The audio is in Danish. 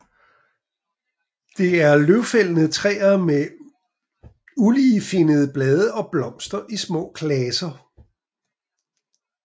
Det er løvfældende træer med uligefinnede blade og blomster i små klaser